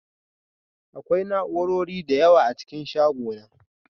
Akwai na'urori da yawa a cikin shagona